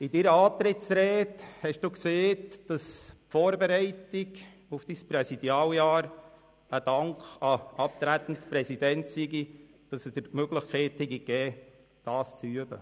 In Ihrer Antrittsrede haben Sie gesagt, dass die Vorbereitung auf Ihr Präsidialamt mit einem Dank an den abtretenden Präsidenten verbunden sei und er Ihnen die Möglichkeit gegeben habe, dies zu üben.